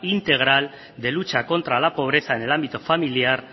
integral de lucha contra la pobreza en el ámbito familiar